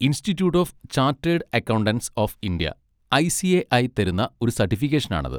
Institute of chartered accountants of India I. C. A. I തരുന്ന ഒരു certification ആണത്.